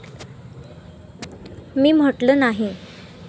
मी म्हटलं, नाही.